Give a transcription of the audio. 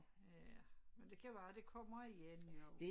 Ja men det kan være det kommer igen jo